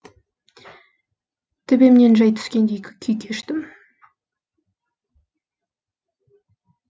төбемнен жай түскендей күй кештім